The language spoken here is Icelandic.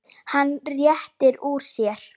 Hann rétti úr sér.